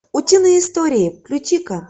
утиные истории включи ка